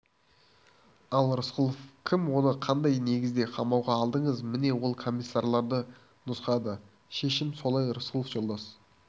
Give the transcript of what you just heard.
ал рысқұлов кім оны қандай негізде қамауға алдыңыз міне ол комиссарларды нұсқады шешімі солай рысқұлов жолдас